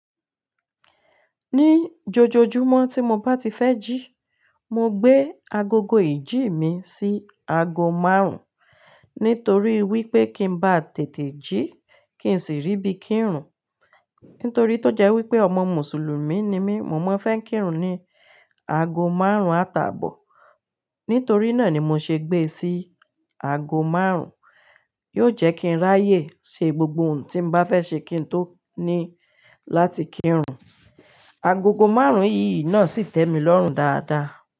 Ní jọjọjúmọ́ tí mo bá ti fẹ́ jí, mo gbé agogo ìjí mi sí aago márùn-ún nítorí wípé kí ń bá tètè jí kí sì rí bí kí ń rùn. Nítorí tó jẹ́ wípé ọmọ Mùsùlùmí ni mí, mo máa ń fẹ́ kí ń rùn ní aago márùn-ún àtàbọ̀. Nítorí náà ni mo ṣe gbé e sí aago márùn-ún, yóò jẹ́ kí ń ráyè ṣe gbogbo ohun tí mo bá fẹ́ ṣe kí ń tó ní láti kí ń rùn. Agogo márùn-ún yìí náà sì tẹ́ mi lọ́rùn dáadáa.